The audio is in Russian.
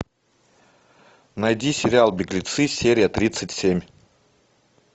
найди сериал беглецы серия тридцать семь